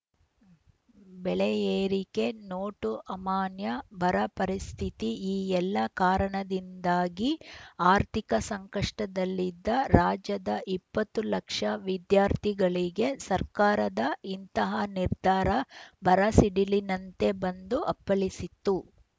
ಬೆಲೆ ಏರಿಕೆ ನೋಟು ಅಮಾನ್ಯ ಬರ ಪರಿಸ್ಥಿತಿ ಈ ಎಲ್ಲಾ ಕಾರಣದಿಂದಾಗಿ ಆರ್ಥಿಕ ಸಂಕಷ್ಟದಲ್ಲಿದ್ದ ರಾಜ್ಯದ ಇಪ್ಪತ್ತು ಲಕ್ಷ ವಿದ್ಯಾರ್ಥಿಗಳಿಗೆ ಸರ್ಕಾರದ ಇಂತಹ ನಿರ್ಧಾರ ಬರ ಸಿಡಿಲಿನಂತೆ ಬಂದು ಅಪ್ಪಳಿಸಿತ್ತು